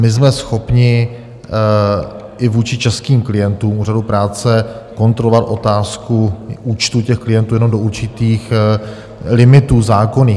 My jsme schopni i vůči českým klientům úřadu práce kontrolovat otázku účtu těch klientů jenom do určitých limitů zákonných.